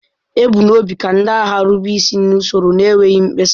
E bu n'obi ka ndị agha rube isi n'usoro n'enweghị mkpesa.